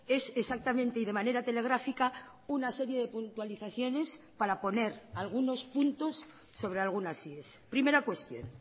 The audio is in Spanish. es exactamente y de manera telegráfica una serie de puntualizaciones para poner algunos puntos sobre algunas ies primera cuestión